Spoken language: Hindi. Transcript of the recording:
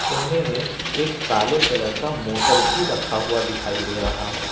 कोने में एक काले कलर का मोटर भी रखा हुआ दिखाई दे रहा है।